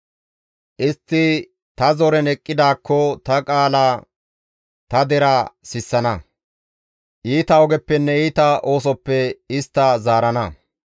Istti ta zoren eqqidaakko ta qaala ta deraa sissana; iita ogeppenne iita oosoppe istta zaarana.